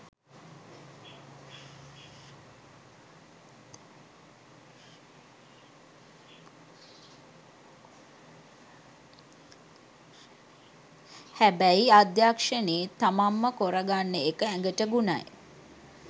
හැබැයි අධ්‍යක්ෂනේත් තමංම කොරගන්න එක ඇගට ගුණයි.